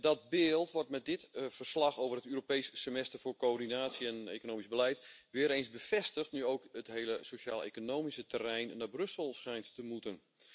Dat beeld wordt met dit verslag over het Europees Semester voor coördinatie en economisch beleid weer eens bevestigd, nu ook het hele sociaaleconomische terrein naar Brussel schijnt te moeten.